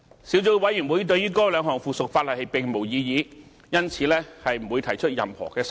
小組委員會對於該兩項附屬法例並無異議，因此不會提出任何修訂。